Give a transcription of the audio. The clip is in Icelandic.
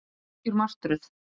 Þetta er algjör martröð